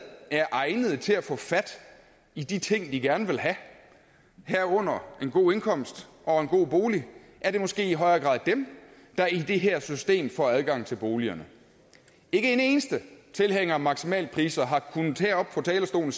er egnede til at få fat i de ting de gerne vil have herunder en god indkomst og en god bolig er det måske i højere grad dem der i det her system får adgang til boligerne ikke en eneste tilhænger af maksimalpriser har heroppe fra talerstolen